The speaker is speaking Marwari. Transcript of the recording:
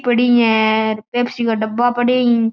पड़ी है र पेप्सी का डब्बा पड़ा ही।